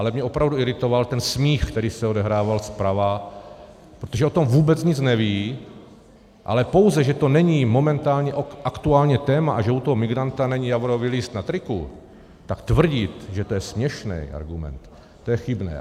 Ale mě opravdu iritoval ten smích, který se odehrával zprava, protože o tom vůbec nic neví, ale pouze, že to není momentálně aktuální téma a že u toho migranta není javorový list na triku, tak tvrdit, že to je směšný argument, to je chybné.